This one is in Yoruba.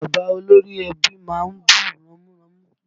Bàbá olórí ẹbí má ń bú ramúramù